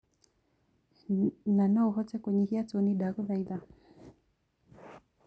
ni no uhote kunyihia toni ndagũthaĩtha